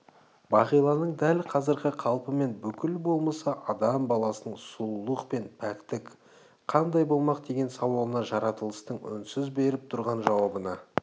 бағиланың дәл қазіргі қалпы мен бүкіл болмысы адам баласының сұлулық пен пәктік қандай болмақ деген сауалына жаратылыстың үнсіз беріп тұрған жауабына